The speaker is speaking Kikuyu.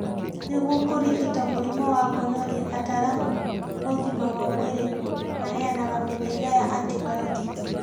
Nĩguo kũrigita mũrimũ wa gonorrhea ataalamu ũgima wa mwĩrĩ maheanaga mĩthaiga ya antibiotics